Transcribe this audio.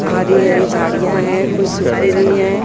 हरी हरी झाडिया है कुछ सुखी हुई है।